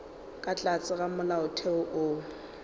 ka tlase ga molaotheo wo